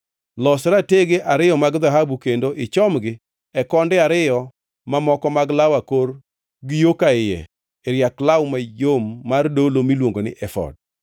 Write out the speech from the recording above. Los ratege ariyo mag dhahabu kendo ichomgi e konde ariyo mamoko mag law akor gi yo ka iye e riak law mayom mar dolo miluongo ni efod.